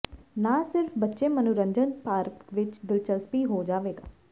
ਨਾ ਸਿਰਫ ਬੱਚੇ ਮਨੋਰੰਜਨ ਪਾਰਕ ਵਿੱਚ ਦਿਲਚਸਪੀ ਹੋ ਜਾਵੇਗਾ